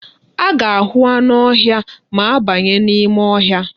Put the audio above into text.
A ga-ahụ anụ ọhịa ma a banye n'ime ọhịa.